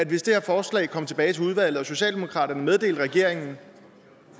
hvis det her forslag kom tilbage til udvalget og socialdemokraterne meddelte regeringen